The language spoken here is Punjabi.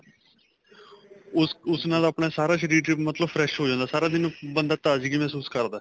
ਉਸ ਉਸ ਨਾਲ ਆਪਣਾ ਸਾਰਾ ਸ਼ਰੀਰ ਮਤਲਬ fresh ਹੋ ਜਾਂਦਾ ਸਾਰਾ ਦਿਨ ਬੰਦਾ ਤਾਜਗੀ ਮਹਿਸੂਸ ਕਰਦਾ